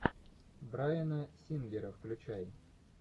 брайана сингера включай